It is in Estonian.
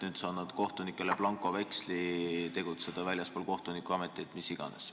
Nüüd sa annad kohtunikele blankoveksli tegutseda väljaspool kohtunikuametit või mis iganes.